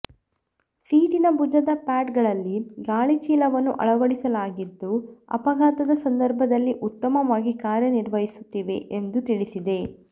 ಸೀಟಿನ ಭುಜದ ಪ್ಯಾಡ್ ಗಳಲ್ಲಿ ಗಾಳಿ ಚೀಲವನ್ನು ಅಳವಡಿಸಲಾಗಿದ್ದೂ ಅಪಘಾತದ ಸಂದರ್ಭದಲ್ಲಿ ಉತ್ತಮವಾಗಿ ಕಾರ್ಯ ನಿರ್ವಹಿಸುತ್ತಿವೆ ಎಂದು ತಿಳಿಸಿದೆ